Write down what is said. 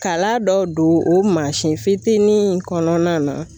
Kala dɔw don o mansin fitinin in kɔnɔna na.